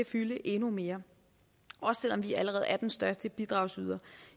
fylde endnu mere også selv om vi allerede er den største bidragsyder